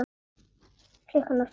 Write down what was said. Klukkan var fimm.